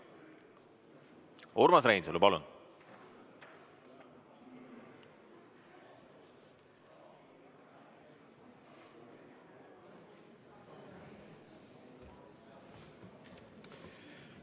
Urmas Reinsalu, palun!